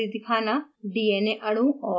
fragment library दिखाना